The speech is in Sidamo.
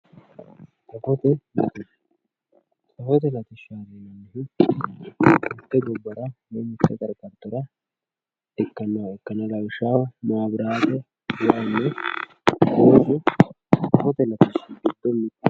safote latishsha safote latishshaati yineemmohu mitte gobbara dagate hasattora ikkannoha ikkanna lawishshaho maaabiraate, wayiinna doogo safote latishshi giddo mittoho.